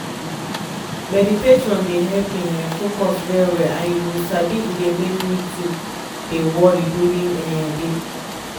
meditation dey help me um focus well-well and you sabi e dey make too dey worry during um day